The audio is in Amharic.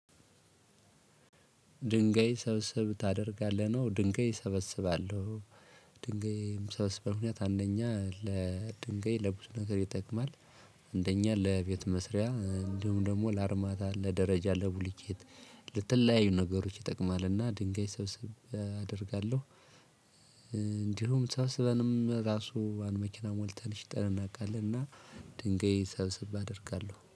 ድንጋይ ሰብስብ ታደርጋለህ ነው ድንጋይ እሰበስባለሁ። ድንጋይም ምሰብስበው ምክንያት አንደኛ ለድንጋይ ለብዙ ነገር ይጠቅማል። አንደኛ ለቤት መስሪያ እንዲሁም ደግሞ ለአርማታ ለደረጃ ለቡሉኬት ለተለያዩ ነገሮች ይጠቅማልና ድንጋይ ሰብስቤ አደርጋለሁ። እንዲሁም ሰብስበንም ራሱ አንድ መኪና ሞልተን ሽጠን እናውቃለን እና ድንጋይ ሰብሰብ አደርጋለሁ